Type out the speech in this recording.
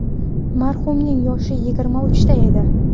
Marhumning yoshi yigirma uchda edi..